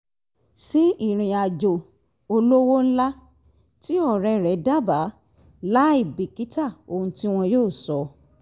sí ìrìn àjò olówo ńlá tí ọ̀rẹ ́rẹ̀ dábàá láì bìkítà ohun tí wọn yóò sọ